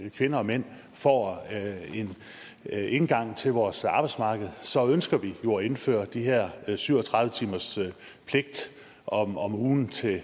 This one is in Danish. kvinder og mænd får en indgang til vores arbejdsmarked så ønsker vi jo at indføre de her syv og tredive timers pligt om om ugen til